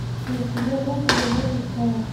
у тебя лента любовь без правил